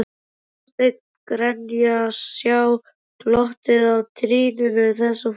Þorsteinn Grenja Sjá glottið á trýnum þessa fólks.